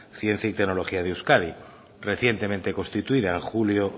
ciencia y tecnología de euskadi recientemente constituida en julio